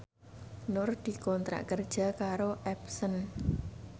Nur dikontrak kerja karo Epson